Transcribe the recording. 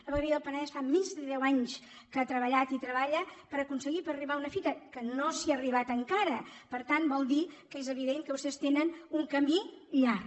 la vegueria del penedès fa més de deu anys que ha treballat i treballa per aconseguir arribar a una fita que no s’hi ha arribat encara per tant vol dir que és evident que vostès tenen un camí llarg